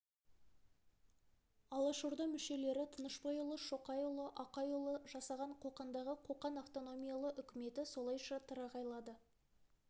алашорда мүшелері тынышбайұлы шоқайұлы ақайұлдары жасаған қоқандағы қоқан автономиялы үкіметі солайша тырағайлады